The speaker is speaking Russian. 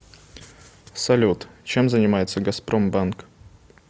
салют чем занимается газпромбанк